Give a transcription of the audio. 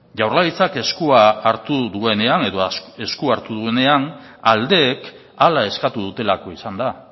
jaurlaritzak eskua hartu duenean aldeek hala eskatu dutelako izan da